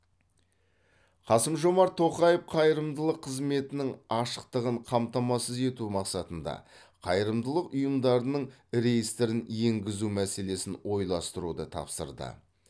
қасым жомарт тоқаев қайырымдылық қызметінің ашықтығын қамтамасыз ету мақсатында қайырымдылық ұйымдарының реестрін енгізу мәселесін ойластыруды тапсырды